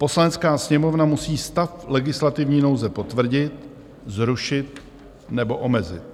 Poslanecká sněmovna musí stav legislativní nouze potvrdit, zrušit nebo omezit.